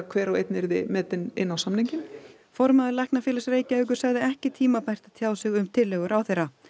hver og einn yrði metinn inn á samninginn formaður Læknafélags Reykjavíkur sagði ekki tímabært að tjá sig um tillögu ráðherra